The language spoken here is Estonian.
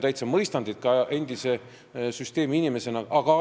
Ma endise süsteemiinimesena teid täitsa mõistan.